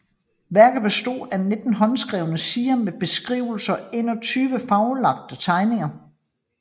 Værket bestod af 19 håndskrevne sider med beskrivelser og 21 farvelagte tegninger